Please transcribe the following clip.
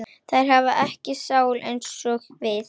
Þær hafa ekki sál eins og við.